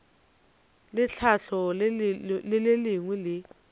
le tlhahlo le lengwe le